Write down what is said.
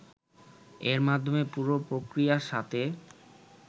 এর মাধ্যমে পুরো প্রক্রিয়ার সাথে